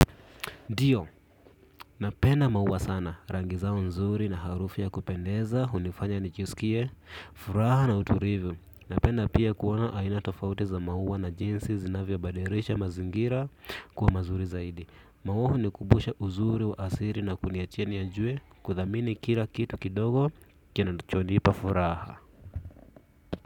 Ndiyo, napenda maua sana, rangi zao nzuri na harufu ya kupendeza, hunifanya nijisikie, furaha na utulivu. Napenda pia kuona aina tofauti za maua na jinsi zinavyobadilisha mazingira kuwa mazuri zaidi. Maua hunikumbusha uzuri wa asili na kuniacha nijue, kuthamini kila kitu kidogo, kinachonipa furaha.